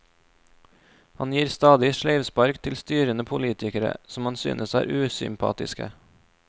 Han gir stadig sleivspark til styrende politikere som han synes er usympatiske.